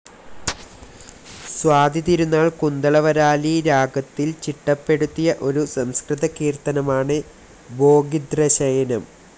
സ്വാതി തിരുനാൾ കുന്തളവരാലി രാഗത്തിൽ ചിട്ടപ്പെടുത്തിയ ഒരു സംസ്കൃതകീർത്തനമാണ് ഭോഗിദ്രശയിനം.